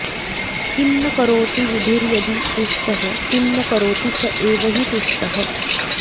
किं न करोति विधिर्यदि रुष्टः किं न करोति स एव हि तुष्टः